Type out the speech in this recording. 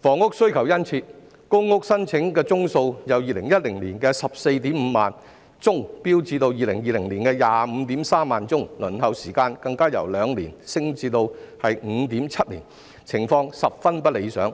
房屋需求殷切，公屋申請宗數由2010年的 145,000 宗飆升至2020年的 253,000 宗，輪候時間更由2年升至 5.7 年，情況十分不理想。